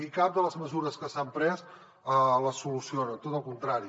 i cap de les mesures que s’han pres el soluciona tot al contrari